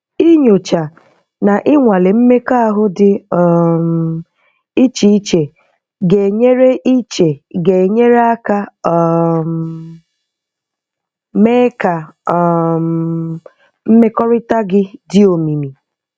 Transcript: Inyocha na ịnwale mmekọahụ di um iche iche ga-enyere iche ga-enyere aka um mee ka um mmekọrịta gị dị omimi.